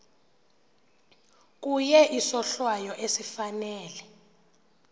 kuye isohlwayo esifanele